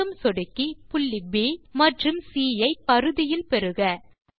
மீண்டும் சொடுக்கி புள்ளி ப் மற்றும் சி ஐ பரிதியில் பெருக